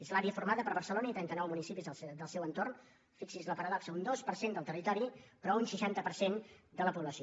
és l’àrea formada per barcelona i trenta nou municipis del seu entorn fixi’s la paradoxa un dos per cent del territori però un seixanta per cent de la població